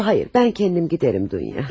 Yo yo xeyr, mən özüm gedərəm Dunya.